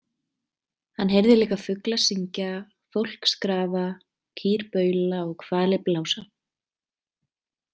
Hann heyrði líka fugla syngja, fólk skrafa, kýr baula og hvali blása.